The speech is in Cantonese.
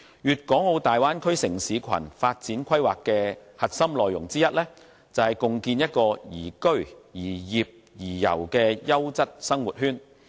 《粵港澳大灣區城市群發展規劃》的核心內容之一，便是共建宜居、宜業、宜遊的優質生活圈。